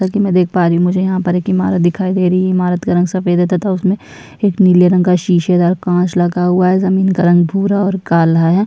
जैसा की मैं देख पा रही हु मुझे यहाँ पर एक इमारत दिखाई दे रही है इमारत का रंग सफ़ेद है तथा उसमे एक नीले रंग का शीशेदार कांच लगा हुआ है जमीन का रंग भूरा और काला है।